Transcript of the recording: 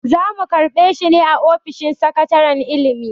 Za mu karɓe shi ne a ofishin sakataren ilimi.